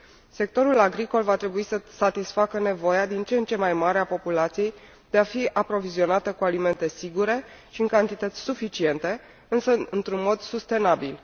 Sectorul agricol va trebui să satisfacă nevoia din ce în ce mai mare a populației, de a fi aprovizionată cu alimente sigure și în cantități suficiente, însă într un mod sustenabil.